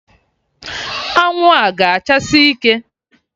Anwụ a ga achasi ike!